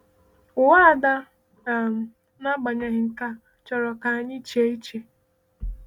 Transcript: Ụwa Ada, um n’agbanyeghị nke a, chọrọ ka anyị chee iche.